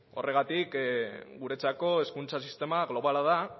horregatik guretzako hezkuntza sistema globala da